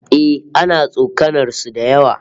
Eh, ana tsokanar su da yawa